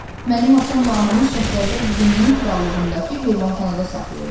Mənim atamla anamı Şahzadə Lumunun krallığındakı heyvanxanada saxlayırlar.